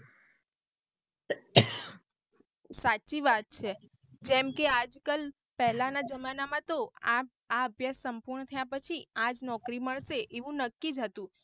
સાચી વાત છે જેમકે આજ કલ પહેલાના જેમાંના તો આ આ અભ્યાસ સંપૂર્ણ થયા પછી આજ નોકરી મળશે એવું નક્કી જ હતું.